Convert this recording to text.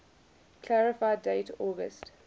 clarify date august